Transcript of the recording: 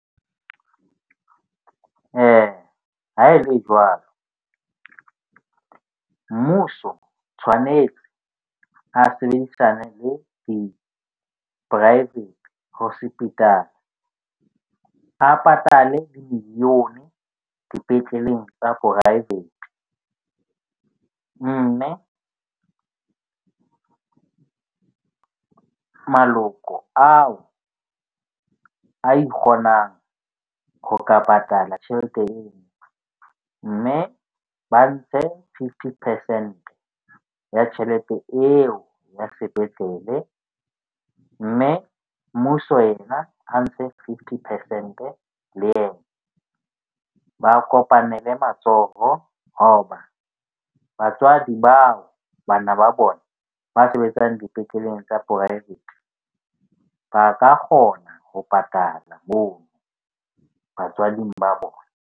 Ha e le jwalo mmuso tshwanetse a sebedisane le di-private hospital-a a patale million sepetleleng tsa poraevete. Mme maloko ao a ikgonang ho ka patala tjhelete eo. Mme ba ntshe fifty percent ya tjhelete eo ya sepetlele. Mme mmuso yena a ntshe fifty percent-e le yena. Ba kopanele matsoho hoba batswadi bao bana ba bona ba sebetsang dipetleleng tsa poraevete ba ka kgona ho patala moo batswading ba bona.